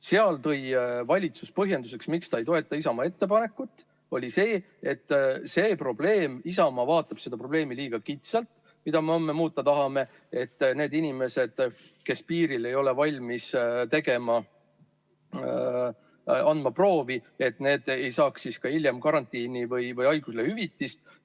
Seal tõi valitsus põhjenduseks, miks ta ei toeta Isamaa ettepanekut, et Isamaa vaatab liiga kitsalt seda probleemi, mida me homme muuta tahame, et need inimesed, kes piiril ei ole valmis andma proovi, ei saaks siis ka hiljem karantiini- või haiguslehe hüvitist.